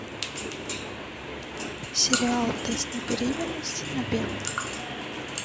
сериал тест на беременность на первом